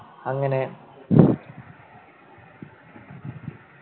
അങ്ങനെ